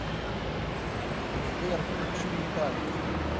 сбер включи металлика